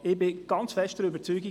Ich bin der festen Überzeugung: